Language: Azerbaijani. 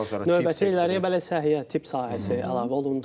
Növbəti illəri bəli, səhiyyə, tibb sahəsi əlavə olundu.